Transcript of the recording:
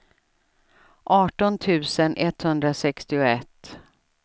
arton tusen etthundrasextioett